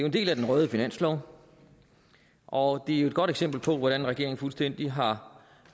en del af den røde finanslov og det er et godt eksempel på hvordan regeringen fuldstændig har